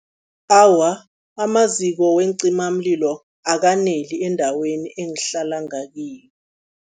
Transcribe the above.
Awa, amaziko weencimamlilo akaneli endaweni engihlala ngakiyo.